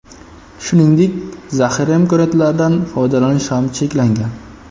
Shuningdek, zaxira imkoniyatlaridan foydalanish ham cheklangan.